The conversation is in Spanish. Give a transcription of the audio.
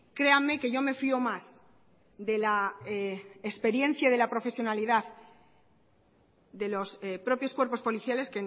créanme que yo me fio más de la experiencia y de la profesionalidad de los propios cuerpos policiales